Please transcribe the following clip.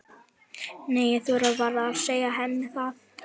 Nei, ég þori varla að segja henni það.